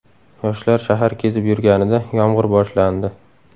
Yoshlar shahar kezib yurganida yomg‘ir boshlandi.